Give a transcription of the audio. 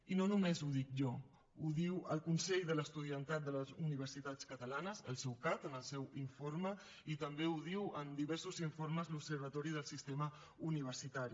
i no només ho dic jo ho diu el consell de l’estudiantat de les universitats catalanes el ceucat en el seu informe i també ho diu en diversos informes l’observatori del sistema universitari